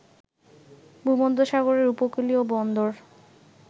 ভূমধ্যসাগরের উপকূলীয় বন্দর